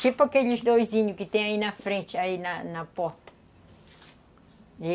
Tipo aqueles doizinhos que tem aí na frente, aí na na porta.